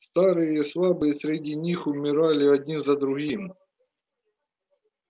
старые и слабые среди них умирали один за другим